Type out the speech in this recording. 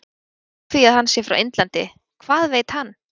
Byggt á því að hann sé frá Indlandi- Hvað veit hann?